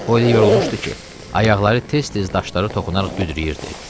O elə yorulmuşdu ki, ayaqları tez-tez daşlara toxunaraq büdrəyirdi.